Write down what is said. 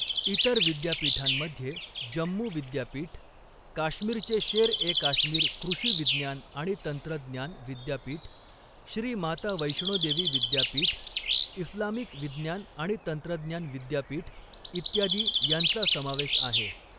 इतर विद्यापीठांमध्ये जम्मू विद्यापीठ, काश्मीरचे शेर ए काश्मीर कृषी विज्ञान आणि तंत्रज्ञान विद्यापीठ, श्री माता वैष्णो देवी विद्यापीठ, इस्लामिक विज्ञान आणि तंत्रज्ञान विद्यापीठ इत्यादी यांचा समावेश आहे.